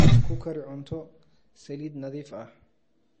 Ku kari cunto saliid nadiif ah.